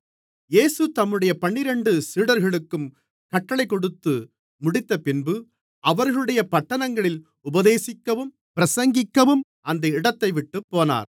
இயேசு தம்முடைய பன்னிரண்டு சீடர்களுக்கும் கட்டளைக் கொடுத்துமுடித்தபின்பு அவர்களுடைய பட்டணங்களில் உபதேசிக்கவும் பிரசங்கிக்கவும் அந்த இடத்தைவிட்டுப் போனார்